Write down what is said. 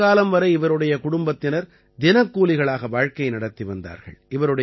நீண்ட காலம் வரை இவருடைய குடும்பத்தினர் தினக்கூலிகளாக வாழ்க்கை நடத்தி வந்தார்கள்